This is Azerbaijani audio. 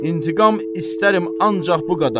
İntiqam istərəm ancaq bu qədər.